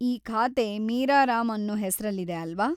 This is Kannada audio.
ಈ ಖಾತೆ ಮೀರಾ ರಾಮ್‌ ಅನ್ನೋ ಹೆಸ್ರಲ್ಲಿದೆ ಅಲ್ವಾ?